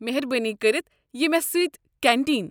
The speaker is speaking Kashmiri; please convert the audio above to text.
میہربٲنی كٔرِتھ یہِ مےٚ سۭتۍ كینٹین۔